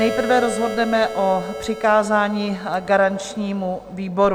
Nejprve rozhodneme o přikázání garančnímu výboru.